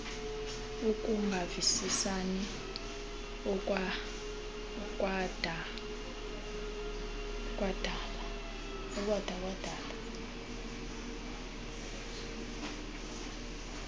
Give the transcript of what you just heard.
ukungavisisani okwada kwadala